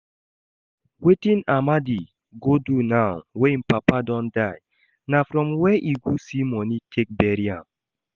Wetin Amadi go do now wey im papa don die, na from where e go see money take bury am?